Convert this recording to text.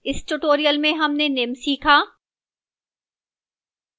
इस tutorial में हमने निम्न सीखा: